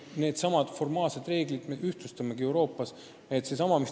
Needsamad formaalsed reeglid me Euroopas ühtlustamegi.